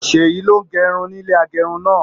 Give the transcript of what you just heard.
Seyi ló n gé irun nílé agérun náà.